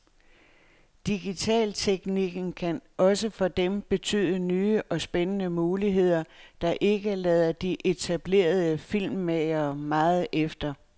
Digitalteknikken kan også for dem betyde nye og spændende muligheder, der ikke lader de etablerede filmmagere meget efter.